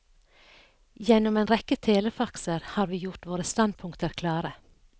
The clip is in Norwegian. Gjennom en rekke telefaxer har vi gjort våre standpunkter klare.